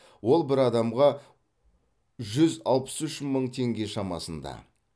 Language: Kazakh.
ол бір адамға жүз алпыс үш мың теңге шамасында